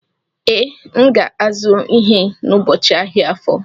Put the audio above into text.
Ee, M ga-azụ ihe n'ubochi ahịa Afọ.